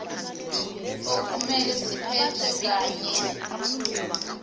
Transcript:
okumele ziphethwe kanye